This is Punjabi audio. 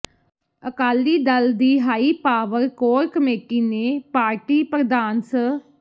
ਅਕਾਲੀ ਦਲ ਦੀ ਹਾਈ ਪਾਵਰ ਕੋਰ ਕਮੇਟੀ ਨੇ ਪਾਰਟੀ ਪ੍ਰਧਾਨ ਸ